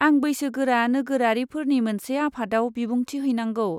आं बैसोगोरा नोगोरारिफोरनि मोनसे आफादआव बिबुंथि हैनांगौ।